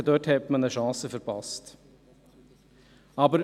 Ich denke, dass man hier eine Chance verpasst hat.